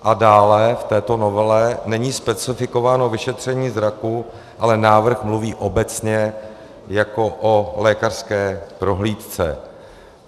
A dále v této novele není specifikováno vyšetření zraku, ale návrh mluví obecně jako o lékařské prohlídce.